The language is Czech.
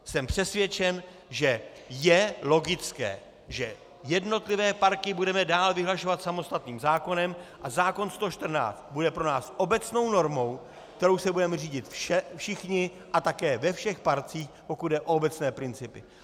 Jsem přesvědčen, že je logické, že jednotlivé parky budeme dál vyhlašovat samostatným zákonem a zákon 114 bude pro nás obecnou normou, kterou se budeme řídit všichni a také ve všech parcích, pokud jde o obecné principy.